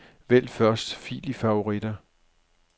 Vælg første fil i favoritter.